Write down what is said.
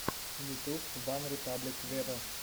ютуб ван репаблик вево